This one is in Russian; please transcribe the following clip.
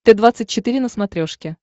т двадцать четыре на смотрешке